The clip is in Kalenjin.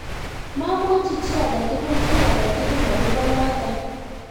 mamwochi chii age tugul ky age tugul akobo noto